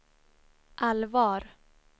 allvar